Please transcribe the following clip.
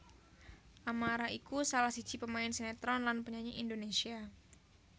Amara iku salah siji pemain sinétron lan penyanyi Indonésia